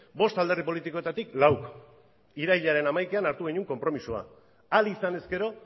bost alderdi politikoetatik lauk irailaren hamaikan hartu genuen konpromisoa ahal izan ezkero